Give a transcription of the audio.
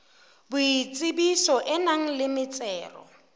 boitsebiso e nang le metsero